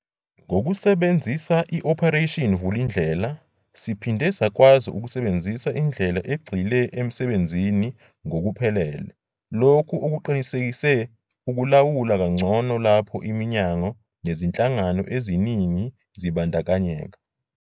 Ngokusebenzisa i-Operation Vulindlela, siphinde sakwazi ukusebenzisa indlela egxile emsebenzini ngokuphelele, lokho okuqinisekise ukulawula kangcono lapho iminyango nezinhlangano eziningi zibandakanyeka.